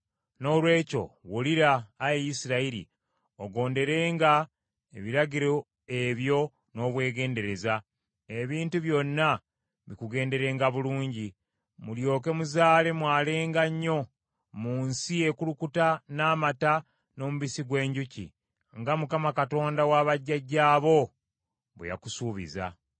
Noolwekyo, wulira, Ayi Isirayiri, ogonderenga ebiragiro ebyo n’obwegendereza, ebintu byonna bikugenderenga bulungi, mulyoke muzaale mwalenga nnyo, mu nsi ekulukuta n’amata n’omubisi gw’enjuki, nga Mukama Katonda wa bajjajjaabo bwe yakusuubiza.